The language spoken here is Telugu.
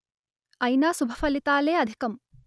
అయినా శుభ ఫలితాలే అధికం